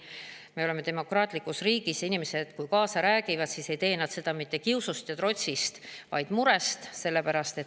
Me elame demokraatlikus riigis ja kui inimesed kaasa räägivad, siis ei tee nad seda mitte kiusust ja trotsist, vaid murest.